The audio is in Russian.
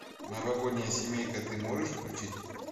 новогодняя семейка ты можешь включить